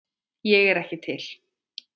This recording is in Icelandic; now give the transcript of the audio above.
Ég er ekki til.